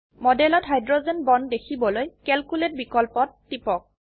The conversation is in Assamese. মডেলত হাইড্রোজেন বন্ড দেখিবলৈ কেলকুলেট বিকল্পত টিপক